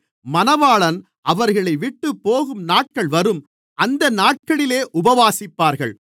மணவாளன் அவர்களைவிட்டுப் போகும் நாட்கள் வரும் அந்த நாட்களிலே உபவாசிப்பார்கள்